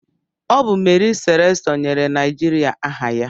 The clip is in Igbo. Ọ bụ Mary Slessọ nyere Naijiria aha ya.